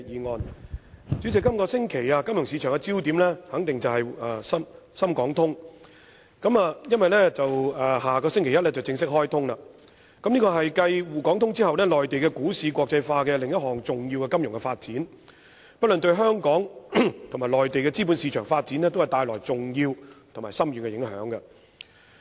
代理主席，這星期金融市場的焦點肯定是深港股票市場交易互聯互通機制，因為深港通在下星期一便會正式開通，是繼滬港股票市場交易互聯互通機制後內地股市國際化的另一項重要金融發展，不論對香港和內地資本市場發展皆帶來重要和深遠的影響。